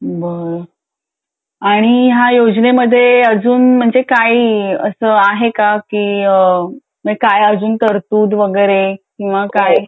बरं आणि ह्या योजने मधे अजून म्हणजे काही असं आहे का काय अजून तरतूद वगैरे किंवा काय